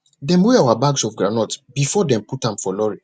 dem weigh our bags of groundnut before dem put am for lorry